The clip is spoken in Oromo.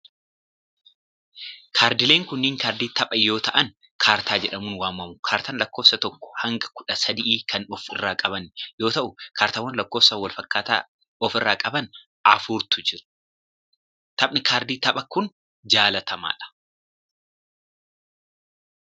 Kaardileen kunneen, kaardii taphaa yoo ta'an ,kaartaa jedhamuun waamamu. Kaartaan lakkoofsa tokkoo hanga kudha sadii kan of irraa qaban yoo ta'u, kaartaawwan lakkoofa walfakkaataa of irraa qaban afurtu jiru. Taphni kaardii taphaa kun, jaalatamaa dha.